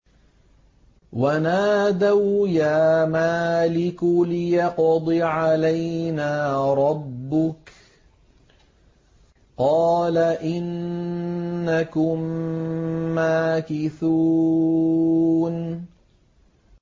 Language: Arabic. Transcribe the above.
وَنَادَوْا يَا مَالِكُ لِيَقْضِ عَلَيْنَا رَبُّكَ ۖ قَالَ إِنَّكُم مَّاكِثُونَ